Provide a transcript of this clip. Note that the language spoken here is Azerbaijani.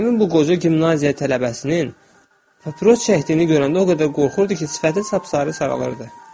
Həmin bu qoca gimnaziya tələbəsinin papros çəkdiyini görəndə o qədər qorxurdu ki, sifəti təpsarı ağalırdı.